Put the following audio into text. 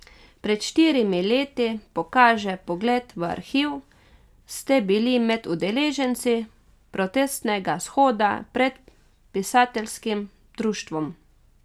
Pred štirimi leti, pokaže pogled v arhiv, ste bili med udeleženci protestnega shoda pred pisateljskim društvom.